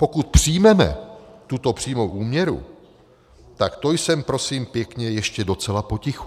Pokud přijmeme tuto přímou úměru, tak to jsem prosím pěkně ještě docela potichu.